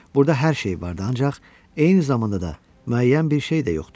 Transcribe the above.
Burda hər şey var da, ancaq eyni zamanda da müəyyən bir şey də yoxdur.